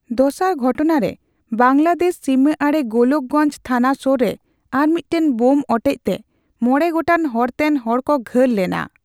ᱫᱚᱥᱟᱨ ᱜᱷᱚᱴᱱᱟᱨᱮ, ᱵᱟᱝᱞᱟᱫᱮᱥ ᱥᱤᱢᱟᱹ ᱟᱹᱲᱮ ᱜᱳᱞᱳᱠ ᱜᱚᱧᱡᱽ ᱛᱷᱟᱱᱟ ᱥᱳᱨ ᱨᱮ ᱟᱨ ᱢᱤᱫᱴᱟᱝ ᱵᱳᱢ ᱚᱴᱮᱡᱛᱮ ᱢᱚᱬᱮ ᱜᱚᱴᱟᱝ ᱦᱚᱨᱛᱮᱱ ᱦᱚᱲ ᱠᱚ ᱜᱷᱟᱹᱞ ᱞᱮᱱᱟ ᱾